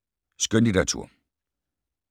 Skønlitteratur